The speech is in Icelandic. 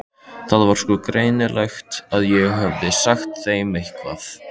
Það var sko greinilegt að ég hefði sagt þeim eitthvað.